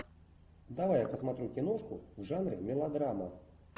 давай я посмотрю киношку в жанре мелодрама